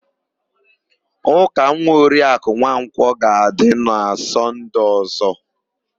Ụka nwa Oriakụ Nwankwọ ga-adị na Sọnde ọ̀zọ́.